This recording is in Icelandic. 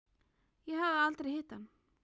Ég hafði aldrei hitt hann.